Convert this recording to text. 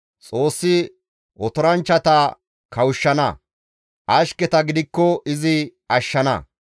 Xoossi otoranchchata kawushshana; ashketa gidikko izi ashshana.